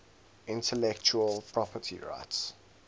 intellectual property rights